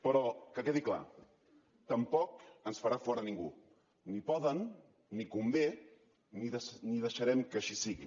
però que quedi clar tampoc ens en farà fora ningú ni poden ni convé ni deixarem que així sigui